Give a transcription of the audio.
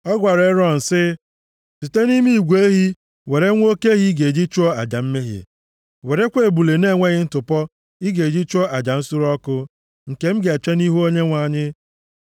Ọ gwara Erọn sị, “Site nʼime igwe ehi were nwa oke ehi ị ga-eji chụọ aja mmehie. Werekwa ebule na-enweghị ntụpọ ị ga-eji chụọ aja nsure ọkụ, nke m ga-eche nʼihu Onyenwe anyị.